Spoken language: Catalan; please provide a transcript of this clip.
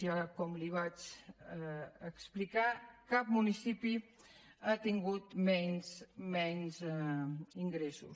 ja com li vaig explicar cap municipi ha tingut menys ingressos